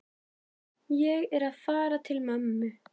Ég er að fara til mömmu.